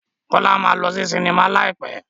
Kọ́lá máa lọ sí sinimá láì pẹ́.